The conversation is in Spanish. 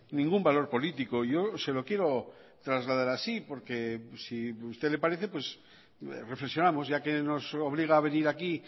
ningún valor político yo se lo quiero trasladar así porque si a usted le parece pues reflexionamos ya que nos obliga a venir aquí